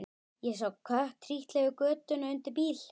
Ég sá kött trítla yfir götuna undir bíl.